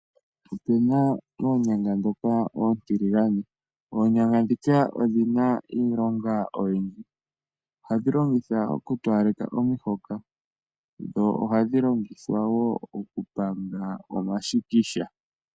Opuna oonyanga ndhoka oontiligane, oonyanga ndhoka odhina iilonga oyindji. Ohadhi longithwa oku towaleka omahoka, dho ohadhi longithwa wo oku panga omashikisha.